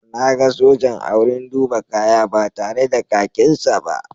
Na ga sojan a wurin duba kaya ba tare da kakinsa ba.